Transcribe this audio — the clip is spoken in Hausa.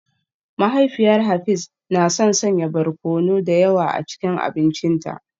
Mahaifiyar Hafiz na son sanya barkono da yawa a cikin abincinta